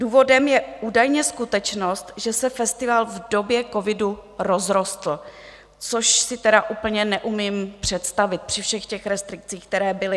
Důvodem je údajně skutečnost, že se festival v době covidu rozrostl, což si tedy úplně neumím představit při všech těch restrikcích, které byly.